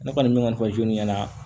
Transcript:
Ne kɔni bɛ kɔni fɔ ɲɛna